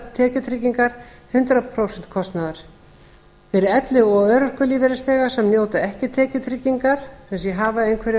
tekjutryggingar hundrað prósent kostnaðar þriðja fyrir elli og örorkulífeyrisþega sem njóta ekki tekjutryggingar sem sé hafa einhverjar tekjur